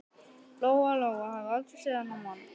Lóa-Lóa hafði aldrei séð þennan mann.